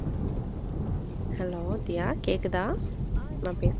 Hello தியா கேக்குதா நான் பேசுறது.